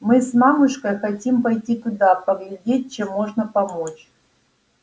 мы с мамушкой хотим пойти туда поглядеть чем можно помочь